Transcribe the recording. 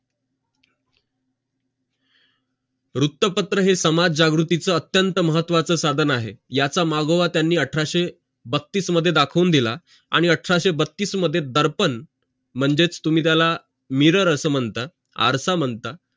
वृत्तपत्र हे समाज जागृतीचे अत्यंत महत्वाचे साधन आहेत याचा मागवा त्यांनी अठराचे बत्तीस मध्ये दाखवून दिल आणि अठराशें बत्तीस मध्ये दर्पण म्हणजे तुम्ही त्याला mirror अशे मनात आरसा मनात